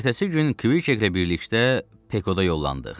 Ertəsi gün Kviklə birlikdə Pekoda yollandıq.